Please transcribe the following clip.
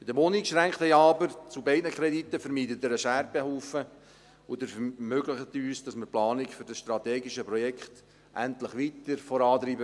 Mit dem uneingeschränkten Ja zu beiden Krediten aber, vermeiden Sie einen Scherbenhaufen, und Sie ermöglichen uns, dass wir die Planung für dieses strategische Projekt endlich weiter vorantreiben.